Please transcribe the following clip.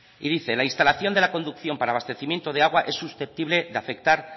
y dice la instalación de la conducción para abastecimiento de agua es susceptible de afectar